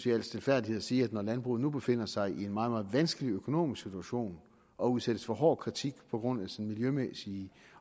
i al stilfærdighed at sige at når landbruget nu befinder sig i en meget meget vanskelig økonomisk situation og udsættes for hård kritik på grund af sin miljømæssige